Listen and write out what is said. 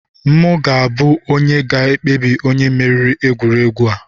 M ga-abụ onye ga-ekpebi onye meriri n'egwuregwu a!